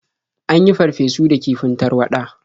An yin farfesu da kifin tarwaɗa.